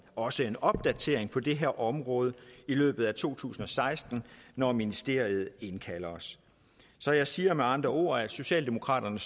også en opdatering på det her område i løbet af to tusind og seksten når ministeriet indkalder os så jeg siger med andre ord at socialdemokraterne